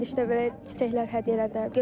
Bizə girişdə belə çiçəklər hədiyyə elədilər.